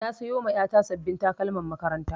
Na sayoma ƴata sabbin takalman makaranta